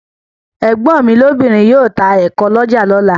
Ẹ̀gbọ́n mi lóbìnrin yóò ta ẹ̀ko ní ọjà lọ́la.